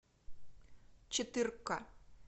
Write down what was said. четырка